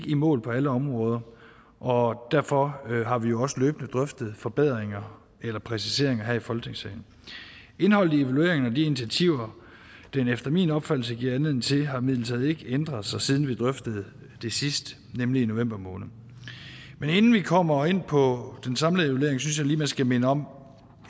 i mål på alle områder og derfor har vi jo også løbende drøftet forbedringer eller præciseringer her i folketingssalen indholdet i evalueringen og de initiativer den efter min opfattelse giver anledning til har imidlertid ikke ændret sig siden vi drøftede det sidst nemlig i november måned men inden vi kommer ind på den samlede evaluering synes jeg lige man skal minde om